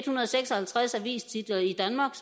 hundrede og seks og halvtreds avistitler i danmark